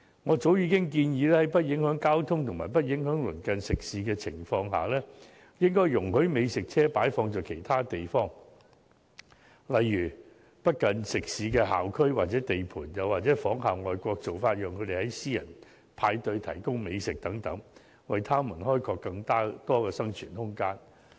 我早已建議，在不影響交通及鄰近食肆的情況下，應容許美食車擺放在其他地方，例如不近食肆的校區或地盤，又或仿效外國做法，讓他們在私人派對提供美食等，為他們開拓更多生存空間。